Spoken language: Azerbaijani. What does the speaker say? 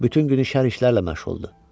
Bütün günü şərr işlərlə məşğuldur.